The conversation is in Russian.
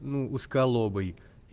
ну узколобый